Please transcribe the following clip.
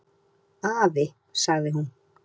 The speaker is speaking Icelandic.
"""Afi, sagði hún."""